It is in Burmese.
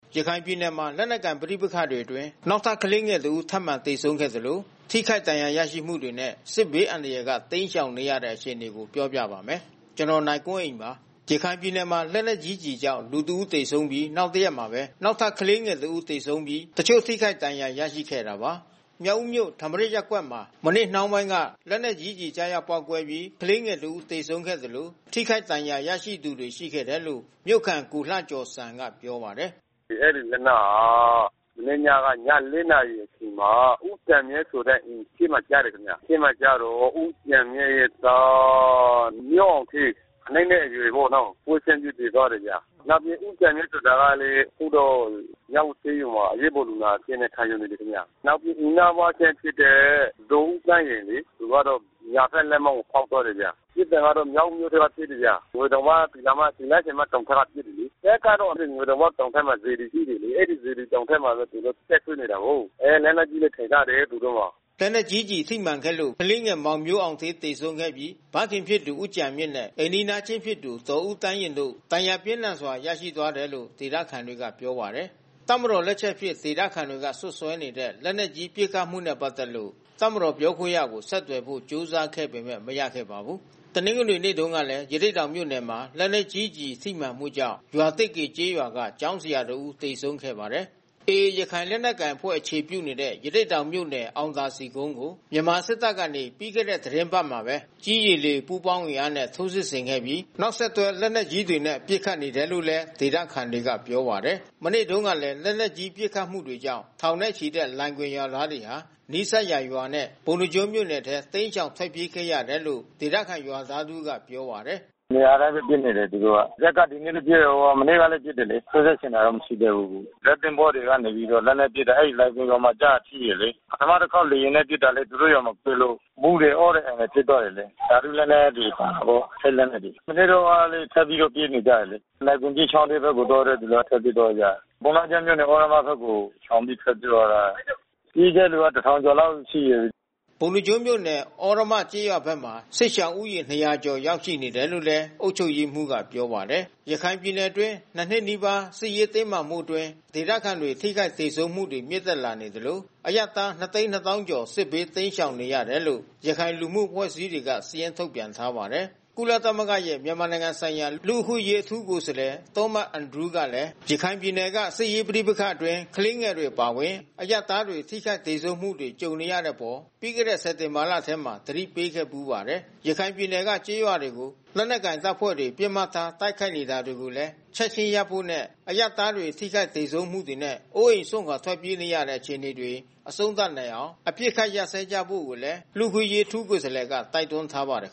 ရခိုင်ပြည်နယ်မှာ လက်နက်ကိုင်ပဋိပက္ခတွေအတွင်း နောက်ထပ် ကလေးငယ်တဦးထပ်မံ သေဆုံးခဲ့သလို ထိခိုက်ဒဏ်ရာရမှုတွေနဲ့ စစ်ဘေးအန္တရာယ်က တိမ်းရှောင်နေရတဲ့ အခြေအနေကို ပြောပြပါမယ်။ ဗွီအိုအေမြန်မာပိုင်းသတင်းထောက် ကိုနိုင်ကွန်းအိန်က သတင်းပေးပို့ထားပါတယ်။ ရခိုင်ပြည်နယ်မှာ လက်နက်ကြီးကျည်ကြောင့် လူ ၁ ဦး သေဆုံးပြီး နောက်တရက်မှာပဲ နောက်ထပ် ကလေးငယ်တဦး သေဆုံးပြီး တချို့ထိခိုက်ဒဏ်ရာ ရခဲ့တာပါ။ မြောက်ဦးမြို့၊ ထမရာဇ်ရပ်ကွက်မှာ မနေ့နှောင်းပိုင်းက လက်နက်ကြီးကျည်ကျရောက် ပေါက်ကွဲပြီး ကလေးငယ်တစ်ဦးသေဆုံးခဲ့သလို ထိခိုက်ဒဏ်ရာရရှိသူတွေ ရှိခဲ့တယ်လို့ မြို့ခံ ကိုလှကျော်စံက ပြောပါတယ်။ “အဲဒီလက်နက်ဟာ မနေ့ညက ည ၄ နာရီအချိန်မှာ ဦးကျန်မြင့်အိမ်အရှေ့မှာ ကျတယ်ခင်ဗျာ။ အရှေ့မှာကျတာ့ ဦးကျန်မြင့်ရဲ့သား မျိုးအောင်ဌေး ၇ နှစ်အရွယ်ပေါ့နော်။ ပွဲချင်းပြီးသေသွားတယ်ဗျ။ နောက်ပြီး ဦးကျန်မြင့်ဆိုတာကလည်း အခုတော့မြောက်ဦးဆေးရုံမှာ အရေးပေါ်လူနာအဖြစ်နဲ့ ခံယူနေတယ်ခင်ဗျ။ နောက်ပြီးအိမ်နီးနားချင်းဖြစ်တဲ့ ဒေါ်ဦးသန်းယဉ်လေ။ သူကတော့ ညာဘက်လက်မောင်းကို ဖေါက်သွားတယ်ခင်ဗျ။ ပစ်တာကတော့မြောက်ဦးမြို့ထဲက ပစ်တယ်ခင်ဗျ။ ငွေတောင်ပေါက် သူတော်မတောင်ဘက်က ပစ်တယ်လေ။ တပ်ကတော့ ငွေတောင်ပေါက်ဘက်မှာ စေတီရှိတယ်လေ။ အဲဒီစေတီတောင်ဘက်မှာသူတို့ တပ်စွဲနေတာကိုး။ အဲ လက်နက်ကြီးလည်း အထိုင်ချတယ်သူတို့မှာ။” လက်နက်ကြီးကျည်ထိမှန်ခဲ့လို့ ကလေးငယ်မောင်မျိုးအောင်ဌေး သေဆုံးခဲ့ပြီး ဖခင်ဖြစ်သူ ဦးကျန်မြင့်နဲ့ အိမ်နီးချင်း ဖြစ်သူ ဒေါ်ဦးသန်းယဉ်တို့ ဒဏ်ရာပြင်းထန်စွာ ရရှိသွားတယ်လို့ ဒေသခံတွေကပြောပါတယ်။ တပ်မတော် လက်ချက်အဖြစ် ဒေသခံတွေက စွပ်စွဲနေတဲ့ လက်နက်ကြီး ပစ်ခတ်မှုနဲ့ ပတ်သက်လို့ တပ်မတော်ပြောခွင့်ရသူကို ဆက်သွယ်ဖို့ ကြိုးစားခဲ့ပေမဲ့ မရခဲ့ပါဘူး။ တနင်္ဂနွေနေ့မှာတုန်းကလည်း ရသေ့တောင်မြို့နယ်မှာ လက်နက်ကြီးကျည်ထိမှန်မှုကြောင့် ရွာသစ်ကေကျေးရွာက ကျောင်းဆရာတဦး သေဆုံးသွားခဲ့ပါတယ်။ AA ရခိုင်လက်နက်ကိုင်အဖွဲ့အခြေပြုနေတဲ့ ရသေ့တောင်မြို့နယ် အောင်သာစည်ကုန်းကို မြန်မာစစ်တပ်ကနေ ပြီးခဲ့တဲ့ သီတင်းပတ်ထဲမှာပဲ ကြည်း၊ ရေ၊ လေ ပူးပေါင်းအင်အားနဲ့ထိုးစစ်ဆင်ခဲ့ပြီး နောက်ဆက်တွဲ လက်နက်ကြီးတွေနဲ့ ပစ်ခတ်နေတယ်လို့လည်း ဒေသခံတွေက ပြောပါတယ်။ မနေ့တုန်းကလည်း လက်နက်ကြီး ပစ်ခတ်မှုတွေကြောင့် ထောင်ချီတဲ့လိုင်ဂွင်ရွာသားတွေဟာ နီးစပ်ရာရွာနဲ့ ပုဏ္ဏားကျွန်း မြို့နယ်ထဲ တိမ်းရှောင် ထွက်ပြေးခဲ့ရတယ်လို့ ဒေသခံရွာသားတဦးကပြောပါတယ်။ “နေရာတိုင်းပဲ ပစ်နေတယ်သူတို့က။ ဇက်က ဒီနေ့လည်း ပစ် မနေ့ကလည်း ပစ်တယ်လေ။ ထိုးစစ်ဆင်တာတော့ မရှိသေးဘူး။ ဇက်သင်္ဘောကနေပြီးတော့ လက်နက်ပစ်တယ်။ အဲဒီလိုင်ဂွင်ရွာမှာကို ထိတယ်လေ။ ပထမတခေါက်လေယာဉ်နဲ့ ပစ်လို့ သူတို့ရွာမှာ ပစ်လို့ မူးတယ်၊ အော့တယ်၊ အန်တယ်ဖြစ်သွားတယ်လေ။ ဓါတုလက်နက်တွေ ပါလို့ ထိတ်လန့်တယ်လေ။ မနေ့တုန်းကလည်း ထပ်ပြီးတော့ပြေးနေကြတယ်လေ။ လိုင်ဂွင်ကြီးချောင်းဘက်ကို သွားတဲ့သူထွက်ပြေးသွားကြတယ်။ ပုဏ္ဏားကျွန်းမြို့နယ် သြရမဘက်ကို ရှောင်ပြီးထွက်ပြေးသွားကြတာ။ ပြေးတဲ့သူက ၁,၀၀၀ ကျော်လောက်ရှိတယ်။” ပုဏ္ဏားကျွန်းမြို့နယ် သြရမကျေးရွာဘက်မှာ စစ်ရှောင်ဦးရေ ၂၀၀ ကျော်ရောက်ရှိနေတယ်လို့ အုပ်ချုပ်ရေးမှူးက ပြောပါတယ်။ ရခိုင်ပြည်နယ်အတွင်း နှစ်နှစ်နီးပါး စစ်ရေးတင်းမာမှုအတွင်း ဒေသခံတွေ ထိခိုက်သေဆုံးမှုတွေမြင့်တက်လာနေသလို အရပ်သား ၂၂၀,၀၀၀ ကျော် စစ်ဘေးတိမ်းရှောင်နေရတယ်လို့ ရခိုင်လူမှုအဖွဲ့အစည်းတွေက စာရင်းထုတ်ပြန်ထားပါတယ်။ ကုလသမဂ္ဂရဲ့ မြန်မာနိုင်ငံဆိုင်ရာ လူ့အခွင့်အရေး အထူးကိုယ်စားလှယ် Thomas Andrews ကလည်း ရခိုင်ပြည်နယ်က စစ်ရေးပဋိပက္ခအတွင်း ကလေးငယ်တွေ အပါအဝင် အရပ်သားတွေ ထိခိုက်သေဆုံးမှုတွေ ကြုံနေရတဲ့အပေါ် ပြီးခဲ့တဲ့ စက်တင်ဘာလထဲမှာပဲ သတိပေးခဲ့ဖူးပါတယ်။ ရခိုင်ပြည်နယ်က ကျေးရွာတွေကို လက်နက်ကိုင်တပ်ဖွဲ့တွေ ပစ်မှတ်ထား တိုက်ခိုက်နေတာတွေကိုလည်း ချက်ခြင်းရပ်ဖို့နဲ့ အရပ်သား ထိခိုက်သေဆုံးမှုတွေနဲ့ အိုးအိမ်စွန့်ခွာ ထွက်ပြေးနေရတဲ့ အခြေအနေတွေ အဆုံးသတ်နိုင်အောင် အပစ်အခတ် ရပ်စွဲကြဖို့လည်း လူ့အခွင့်အရေး အထူးကိုယ်စားလှယ်က တိုက်တွန်းထားပါတယ်